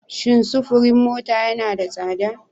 Shin sufurin mota yana da tsada?